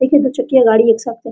एके दू चकिया गाड़ी एकसाथ --